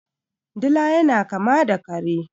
Dila yana kama da kare.